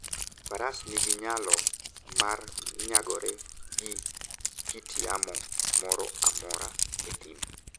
Faras nigi nyalo mar nyagore gi kit yamo moro amora e thim.